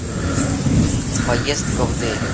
поездка в дели